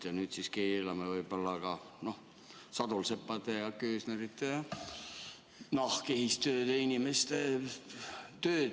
Ja nüüd siis keelame võib-olla ka sadulseppade ja köösnerite ja nahkehistöömeistrite töö.